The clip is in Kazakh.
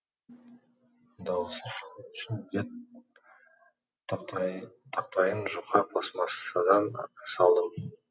дауысы шығу үшін бет тақтайын жұқа пластмассадан салдым